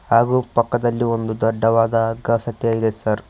ಹಾಗು ಪಕ್ಕದಲ್ಲಿ ಒಂದು ದೊಡ್ಡದಾದ ಹಗ್ಗ ಸಹಿತ ಇದೆ ಸರ್ .